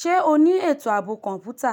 Ṣé o ní ètò ààbò kọ̀ǹpútà?